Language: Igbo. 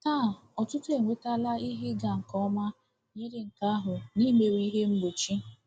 Taa, ọtụtụ enwetala ihe ịga nke ọma yiri nke ahụ n’imewe ihe mgbochi.